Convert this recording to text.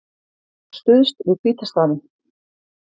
Stuðst við hvíta stafinn